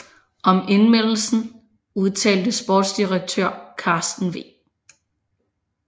Om indlemmelsen udtalte sportsdirektør Carsten V